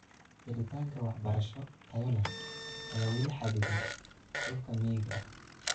Helitaanka waxbarasho tayo leh ayaa weli xaddidan dhulka miyiga ah.